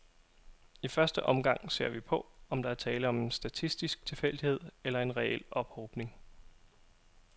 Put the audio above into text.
I første omgang ser vi på, om der er tale om en statistisk tilfældighed eller en reel ophobning.